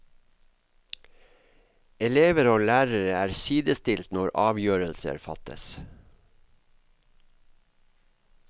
Elever og lærere er sidestilt når avgjørelser fattes.